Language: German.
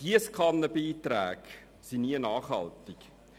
Giesskannenbeiträge sind nie nachhaltig.